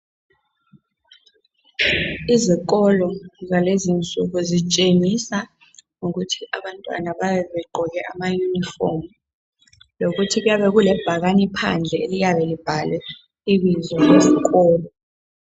Izikolo zalezinsuku zitshengisa ngokuthi abantwana bayabe begqoke ama yunifomu lokuthi kuyabe kulebhakane phandle eliyabe libhalwe ibizo lesikolo